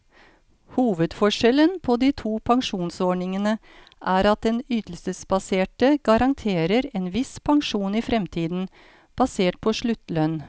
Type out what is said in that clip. Hovedforskjellen på de to pensjonsordningene er at den ytelsesbaserte garanterer en viss pensjon i fremtiden, basert på sluttlønn.